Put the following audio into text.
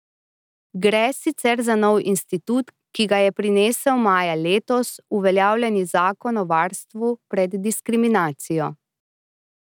Gre sicer za nov institut, ki ga je prinesel maja letos uveljavljeni zakon o varstvu pred diskriminacijo.